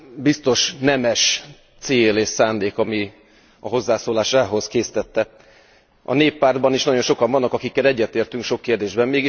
Biztos nemes cél és szándék, ami a hozzászólásához késztette. A Néppártban is nagyon sokan vannak, akikkel egyetértünk sok kérdésben.